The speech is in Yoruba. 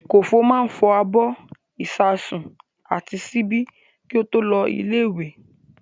Kòfó máa fọ abọ́, ìṣasùn àti ṣíbí kí ó tó lọ ilé-ìwé.